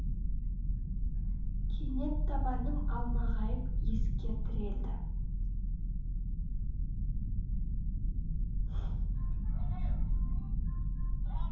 кенет табаным алмағайып есікке тірелді